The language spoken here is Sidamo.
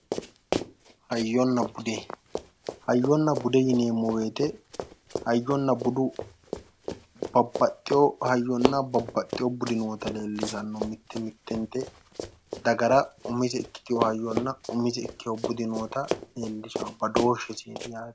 hayyonna bude hayyonna bude yineemmo wote hoyyonna budu babbaxewo hayyonna babbaxewo budu noota leellishshanno mitte mittenti dagara umise ikkino hayyonna umise ikkitino budi noota leellishshanno badooshsheseeti yaate.